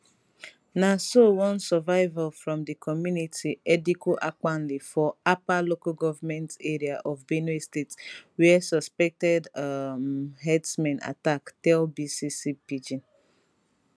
na so one survivor from di community edikwu ankpali for apa local goment area of benue state wia suspected um herdsmen attack tell bbc pidgin